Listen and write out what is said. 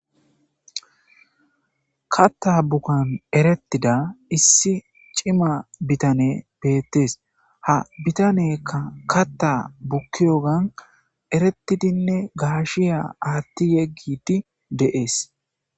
Katta bukan erettida issi cima bitane beettees ha bitaneka katta bukkiyogan eretidinne gaashiya aatti yeggiti deees.